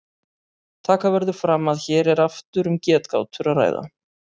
Taka verður fram að hér er aftur um getgátur að ræða.